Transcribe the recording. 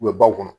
U bɛ baw kɔnɔ